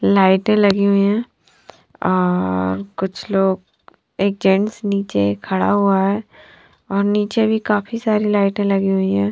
लाइटे लगी हुई है और कुछ लोग एक जेन्ट्स नीचे खड़ा हुआ है और नीचे भी काफी सारी लाइट लगी हुई है।